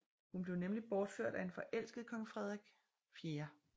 Hun blev nemlig bortført af en forelsket kong Frederik 4